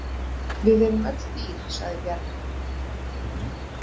Við erum öll dýr, sagði Bjarni.